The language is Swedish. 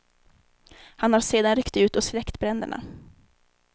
Han har sedan ryckt ut och släckt bränderna.